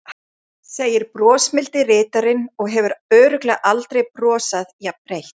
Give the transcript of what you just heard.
segir brosmildi ritarinn og hefur örugglega aldrei brosað jafnbreitt.